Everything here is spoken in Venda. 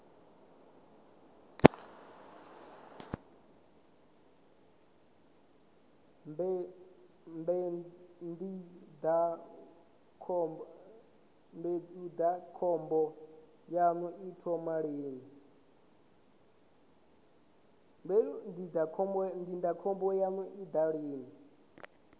mbu ndindakhombo yanga i thoma lini